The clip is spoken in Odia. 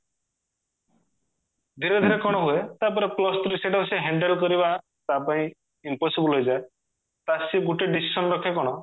ଧୀରେ ଧୀରେ କଣ ହୁଏ ତାପରେ plus two ରେ ସେଟାକୁ ସିଏ handle କରିବା ତା ପାଇଁ impossible ହେଇଯାଏ ତାର ସିଏ ଗୋଟେ decision ରଖେ କଣ